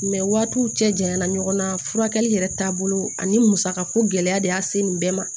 waatiw cɛ janyana ɲɔgɔn na furakɛli yɛrɛ taabolo ani musaka ko gɛlɛya de y'a se nin bɛɛ ma